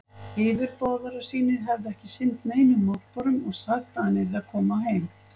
Yfirboðarar sínir hefðu ekki sinnt neinum mótbárum og sagt, að hann yrði að koma heim.